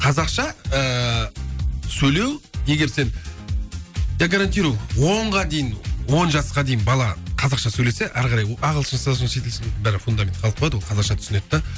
қазақша ыыы сөйлеу егер сен я гарантирую онға дейін он жасқа дейін бала қазақша сөйлесе ары қарай ол ағылшынша шетелше бірібір фундамент қалып қояды ол қазақша түсінеді де